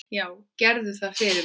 Já, gerðu það fyrir mig!